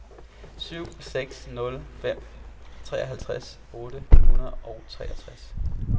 syv seks nul fem treoghalvtreds otte hundrede og halvtreds